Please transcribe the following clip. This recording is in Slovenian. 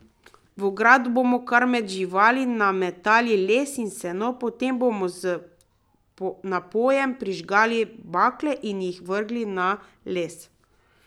V ogrado bomo kar med živali nametali les in seno, potem bomo z napojem prižgali bakle in jih vrgli na les.